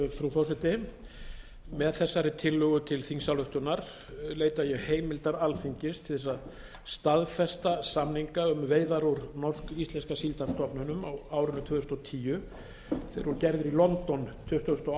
frú forseti með þessari tillögu til þingsályktunar leita ég heimildar alþingis til þess að staðfesta samninga um veiðar úr norsk íslenska síldarstofninum á árinu tvö þúsund og tíu þeir voru gerðir í london tuttugasta og